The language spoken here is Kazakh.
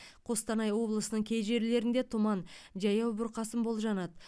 қостанай облысының кей жерлерінде тұман жаяу бұрқасын болжанады